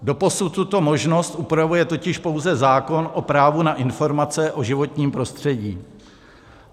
Doposud tuto možnost upravuje totiž pouze zákon o právo na informace o životním prostředí.